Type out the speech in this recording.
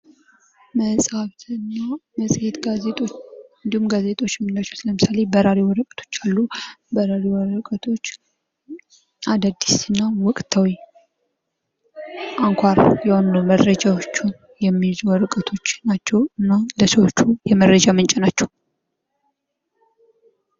መጽሃፍትና መጽሄት ጋዜጦች እንዲሁም ጋዜጦች ከምንላቸው ለምሳሌ በራሪ ወረቀቶች አሉ። በራሪ ወረቀቶች አዳዲስና ወቅታዊ አንኳር የሆኑ መረጃዎችን የሚይዙ ወረቀቶች ናቸው እና ለሰዎቹ የመረጃ ምንጭ ናቸው።